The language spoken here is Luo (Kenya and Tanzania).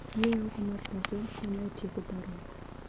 Yueyo oko mar pacho konyo e tieko parruok.